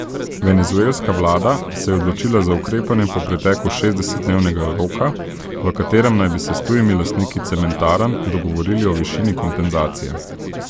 Venezuelska vlada se je odločila za ukrepanje po preteku šestdesetdnevnega roka, v katerem naj bi se s tujimi lastniki cementarn dogovorili o višini kompenzacije.